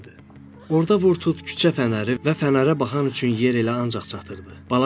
Orda vurdut küçə fənərləri və fənərə baxan üçün yer elə ancaq çatırdı.